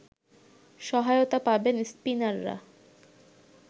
সহায়তা পাবেন স্পিনাররা